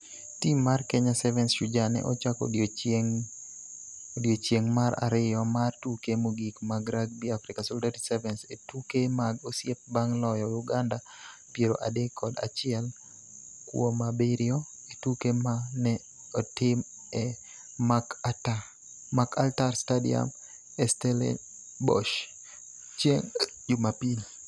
Tim mar Kenya Sevens Shujaa ne ochako odiechieng' mar ariyo mar tuke mogik mag Rugby Africa Solidarity Sevens e tuke mag osiep bang' loyo Uganda piero adek kod achiel kuomabiriyo e tuke ma ne otim e Markötter Stadium e Stellenbosch chieng' Jumapil.